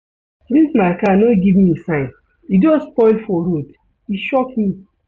Dis my car no give me sign, e just spoil for road, e shock me.